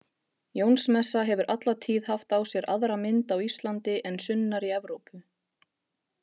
Jónsmessa hefur alla tíð haft á sér aðra mynd á Íslandi en sunnar í Evrópu.